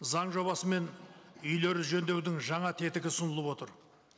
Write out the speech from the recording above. заң жобасымен үйлер жөндеудің жаңа тетігі ұсынылып отыр